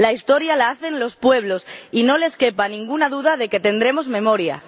La Historia la hacen los pueblos y no les quepa ninguna duda de que tendremos memoria.